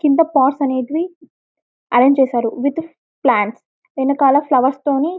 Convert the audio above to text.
క్రింద సాస్ అనేది ఆరెంజ్ చేశారు విత్ ప్లాంట్స్ వెనకాల ఫ్లవర్స్ తోని